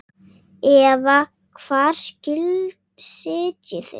Eva: Hvar sitjið þið?